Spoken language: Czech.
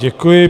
Děkuji.